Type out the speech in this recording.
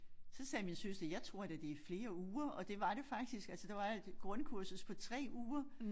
Så sagde min søster jeg tror da det flere uger og det var det faktisk altså der var et grundkursus på 3 uger